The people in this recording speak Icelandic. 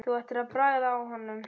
Þú ættir að bragða á honum